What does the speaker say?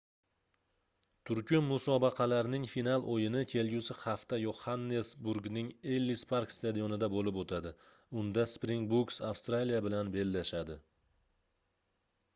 turkum musobaqalarning final oʻyini kelgusi hafta yoxannesburgning ellis park stadionida boʻlib oʻtadi unda springbooks avstraliya bilan bellashadi